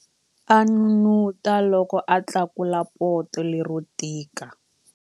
A n'unun'uta loko a tlakula poto lero tika.